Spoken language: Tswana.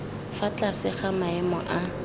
fa tlase ga maemo a